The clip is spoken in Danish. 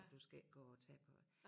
Og du skal ikke gå og tage på øh